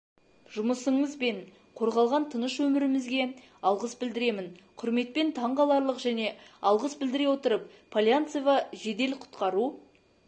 жұмысыңыз бен қорғалған тыныш өмірімізге алғыс білдіремін құрметпен таң қаларлық және алғыс білдіе отырып полянцева жедел-құтқару